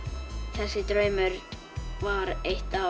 þessi draumur var eitt af